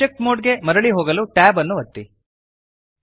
object mode ಗೆ ಮರಳಿ ಹೋಗಲು Tab ಅನ್ನು ಒತ್ತಿರಿ